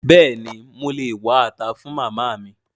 Béèni mo lè wá ata fun Màmá mi?